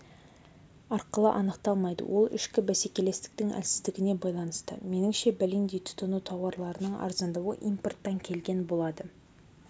арқылы анықталмайды ол ішкі бәсекелестіктің әлсіздігіне байланысты меніңше бәлендей тұтыну тауарларының арзандауы импорттан келген болады